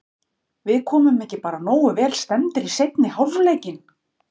Við komum bara ekki nógu vel stemmdir í seinni hálfleikinn.